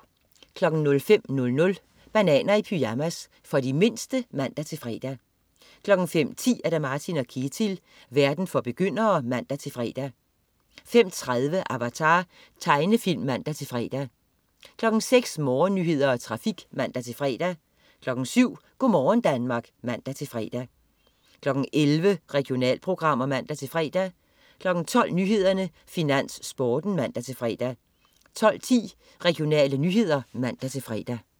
05.00 Bananer i pyjamas. For de mindste (man-fre) 05.10 Martin & Ketil. Verden for begyndere (man-fre) 05.30 Avatar. Tegnefilm (man-fre) 06.00 Morgennyheder og trafik (man-fre) 07.00 Go' morgen Danmark (man-fre) 11.00 Regionalprogrammer (man-fre) 12.00 Nyhederne, Finans, Sporten (man-fre) 12.10 Regionale nyheder (man-fre)